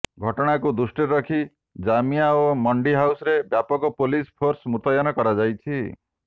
ଘଟଣାକୁ ଦୃଷ୍ଟିରେ ରଖି ଜାମିଆ ଓ ମଣ୍ଡି ହାଉସରେ ବ୍ୟାପକ ପୋଲିସ ଫୋର୍ସ ମୁତୟନ କରାଯାଇଛି